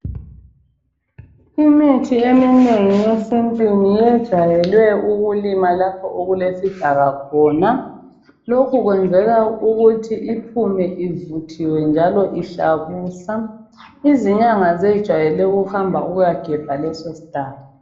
Imithi eminengi yesintu yejwayele ukulinywa lapho okulesidaka khona. Lokhu kwenzelwa ukuthi iphume ivuthiwe njalo ihlabusa. Izinyanga zejwayele ukuhamba ukuyagebha leso shlahla.